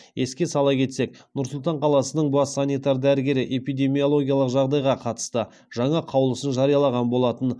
еске сала кетсек нұр сұлтан қаласының бас санитар дәрігері эпидемиологиялық жағдайға қатысты жаңа қаулысын жариялаған болатын